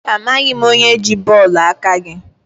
Amaghị m onye ji bọọlụ aka gị.